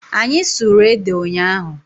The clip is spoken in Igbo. Anyị sụrụ ede ụnyaahụ.